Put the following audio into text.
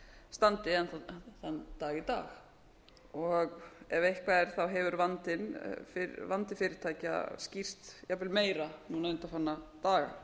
standi enn þann dag í dag og ef eitthvað er hefur vandi fyrirtækja skýrst jafnvel meira núna undanfarna daga